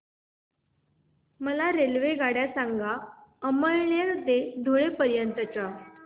मला रेल्वेगाड्या सांगा अमळनेर ते धुळे पर्यंतच्या